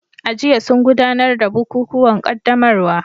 A jiya sun gudanar da bukukuwan qaddamarwa